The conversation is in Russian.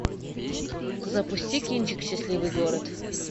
запусти кинчик счастливый город